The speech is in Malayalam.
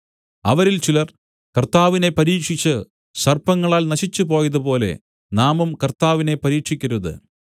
അവരിൽ ചിലർ കർത്താവിനെ പരീക്ഷിച്ച് സർപ്പങ്ങളാൽ നശിച്ചുപോയതുപോലെ നാമും കർത്താവിനെ പരീക്ഷിക്കരുത്